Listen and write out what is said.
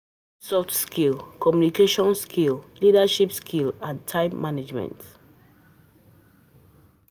We get soft skill, communicaiton skills, leadership skills and time management